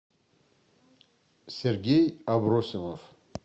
сергей абросимов